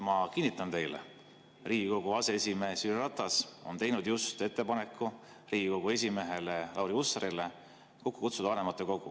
Ma kinnitan teile, et Riigikogu aseesimees Jüri Ratas on teinud just ettepaneku Riigikogu esimehele Lauri Hussarile kokku kutsuda vanematekogu.